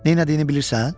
Nə elədiyini bilirsən?